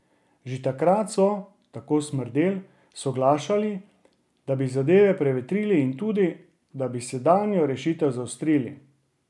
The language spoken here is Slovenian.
Že takrat so, tako Smrdelj, soglašali, da bi zadeve prevetrili in tudi, da bi sedanjo rešitev zaostrili.